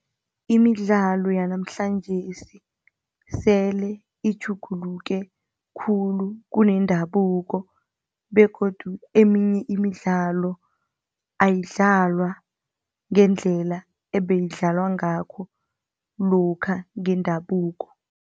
Imidlalo yanamhlanjesi sele itjhuguluke khulu kunendabuko begodu eminye imidlalo ayidlalwa ngendlela ebeyidlaliwa ngakho lokha ngendabuko.